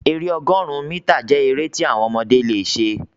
èrè ọgọrun mítà jẹ èrè ti àwọn ọmọdé lẹ ṣe.